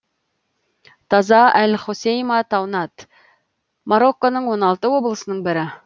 таза әл хосейма таунат марокконың он алты облысының бірі